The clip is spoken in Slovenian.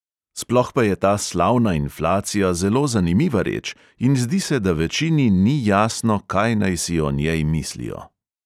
Sploh pa je ta slavna inflacija zelo zanimiva reč in zdi se, da večini ni jasno, kaj naj si o njej mislijo.